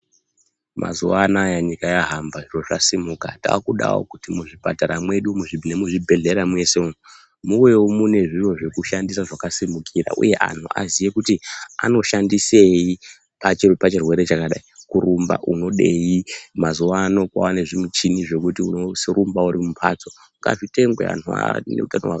Mazuwa anaya nyika yahamba, zviro zvasimuka. Takudawo kuti muzvipatara mwedu umu nemuzvibhedhlera mwese umu muwewo mune zviro zvekushandisa zvakasimukira uye kuti anhu aziye kuti anoshandisei pachirwere chakadai. Kurumba unodei, mazuwano kwava nezvimuchini zvekuti unorumba uri mumhatso, ngazvitengwe anhu a